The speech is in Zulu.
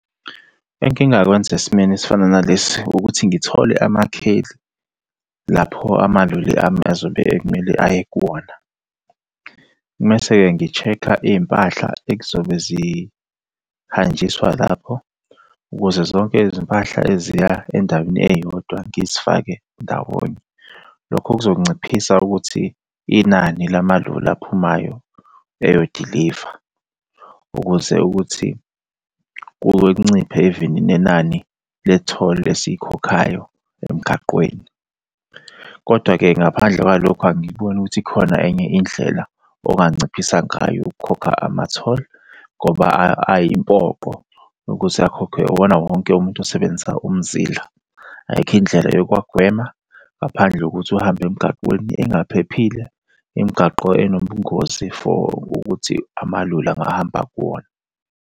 Engingakwenza esimweni esifana nalesi ukuthi ngithole amakheli lapho amaloli ami azobe kumele aye kuwona. Mese-ke ngi-check-a iy'mpahla ekuzobe zihanjiswa lapho, ukuze zonke izimpahla eziya endaweni eyodwa ngizifake ndawonye. Lokho kuzonciphisa ukuthi inani lamaloli aphumayo eyodiliva, ukuze ukuthi kuke kunciphe even nenani le toll esikhokhayo emgaqweni, Kodwa-ke ngaphandle kwalokho angikuboni ukuthi ikhona enye indlela onganciphisa ngayo ukukhokha ama-toll, ngoba ayimpoqo ukuthi akhokhwe iwona wonke umuntu osebenzisa umzila. Ayikho indlela yokuwagwema ngaphandle kokuthi uhambe emgaqweni engaphephile, imgaqo enobungozi for ukuthi amaloli angahamba kuwona.